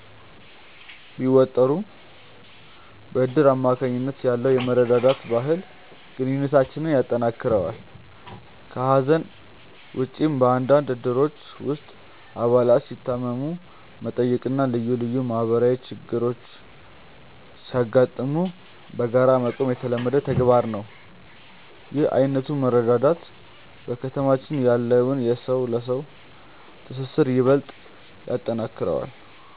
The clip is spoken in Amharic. ቢወጠሩም፣ በእድር አማካኝነት ያለው የመረዳዳት ባህል ግንኙነታችንን ያጠናክረዋል። ከሐዘን ውጭም፣ በአንዳንድ እድሮች ውስጥ አባላት ሲታመሙ መጠየቅና ልዩ ልዩ ማህበራዊ ችግሮች ሲያጋጥሙ በጋራ መቆም የተለመደ ተግባር ነው። ይህ ዓይነቱ መረዳዳት በከተማችን ያለውን የሰው ለሰው ትስስር ይበልጥ ያጠነክረዋል።